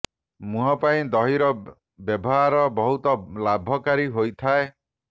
ମୁହଁ ପାଇଁ ଦହୀର ବେବହାର ବହୁତ ଲାଭ କାରୀ ହୋଇଥାଏ